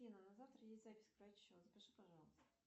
афина на завтра есть запись к врачу запиши пожалуйста